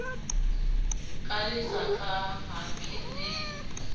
ka lesaka ha ke ne